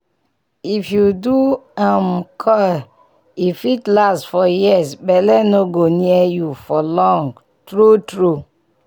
if you do um coil e fit last for years belle no go near you for long.true true